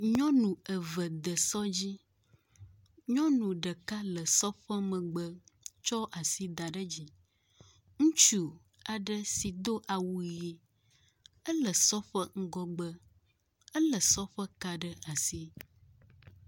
Nyɔnu eve de sɔ dzi, nyɔnu ɖeka le sɔ ƒe megbe tso asi da ɖe edzi, Ŋutsu aɖe si do awu ʋi ele sɔ ƒe ŋgɔgbe. Elé sɔ ƒe ka ɖe asi.